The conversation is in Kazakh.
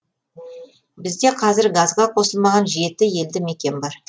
бізде қазір газға қосылмаған жеті елді мекен бар